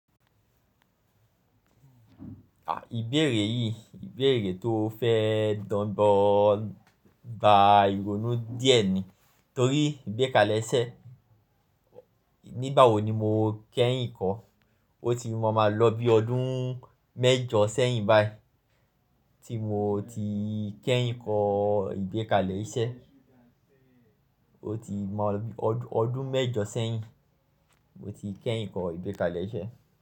Ibéèrè yìí, ìbéèrè tó fẹ́ dọgbọn gba ìrònú díẹ̀ ni. Torí ìgbékalẹ̀ isẹ́, nígbàwo ni mo kẹ́yìn kọ. O ti máa ma lọ bí ọdún mẹ́jọ sẹ́yìn baí tí mo ti kẹ́yìn kọ́ ìgbékalẹ̀ isẹ́. O ti máa lọ bí ọdún mẹ́jọ sẹ́yìn mo ti kẹ́yìn kọ́ ìgbékalẹ̀ iṣẹ́